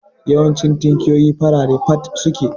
Yawancin tinkiyoyi farare fat suke